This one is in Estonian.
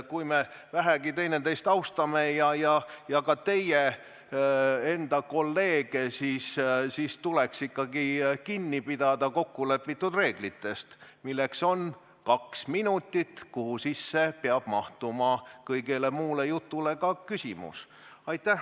Kui me vähegi üksteist austame, ka teie enda kolleege, siis tuleks ikkagi kinni pidada kokkulepitud reeglitest, milleks on kaks minutit, kuhu sisse peab mahtuma kõigele muule jutule lisaks ka küsimus.